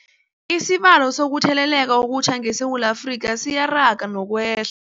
Isibalo sokuthele leka okutjha ngeSewula Afrika siyaraga nokweh